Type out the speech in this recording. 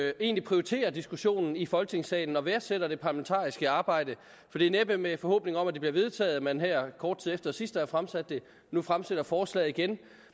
jo egentlig prioriterer diskussionen i folketingssalen og værdsætter det parlamentariske arbejde for det er næppe med en forhåbning om at det bliver vedtaget at man her kort tid efter sidst at have fremsat det nu fremsætter forslaget igen